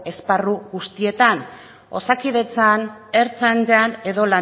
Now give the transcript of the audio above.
esparru guztietan osakidetzan ertzaintzan edo